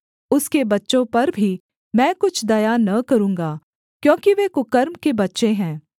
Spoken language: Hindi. उसके बच्चों पर भी मैं कुछ दया न करूँगा क्योंकि वे कुकर्म के बच्चे हैं